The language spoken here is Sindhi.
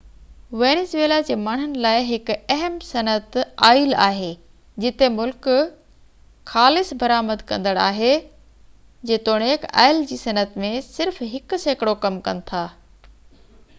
وينزويلا جي ماڻهن لاءِ هڪ اهم صنعت آئل آهي جتي ملڪ خالص برآمد ڪندڙ آهي جيتوڻيڪ آئل جي صنعت ۾ صرف هڪ سيڪڙو ڪم ڪن ٿا